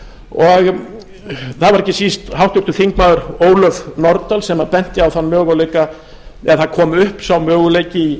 og það var ekki síst háttvirtir þingmenn ólöf nordal sem benti á þann möguleika eða það kom upp sá möguleiki í